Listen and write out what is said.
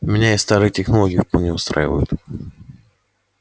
меня и старые технологии вполне устраивают